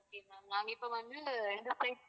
நாங்க இப்போ வந்து ரெண்டு flight